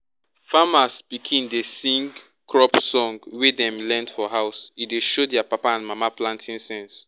farmers pikin dey sing crop song wey dem learn for house e dey show their papa and mama planting sense.